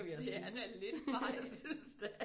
Det er da lidt vej